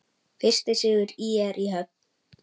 Fyrsti sigur ÍR í höfn